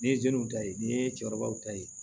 N'i ye jeliw ta ye n'i ye cɛkɔrɔbaw ta ye